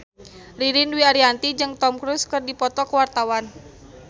Ririn Dwi Ariyanti jeung Tom Cruise keur dipoto ku wartawan